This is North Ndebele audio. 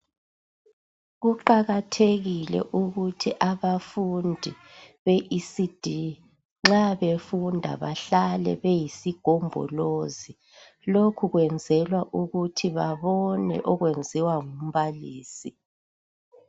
Kuqakathekile ukuthi abafundi beECD nxa befunda bahlale beyisigombolozi lokhu kwenzelwa ukuthi babone okwenziwa ngumbalisi.